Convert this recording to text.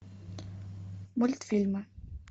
мультфильмы